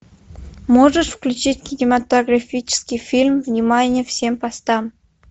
можешь включить кинематографический фильм внимание всем постам